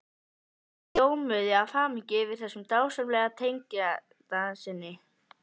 Þau ljómuðu af hamingju yfir þessum dásamlega tengdasyni.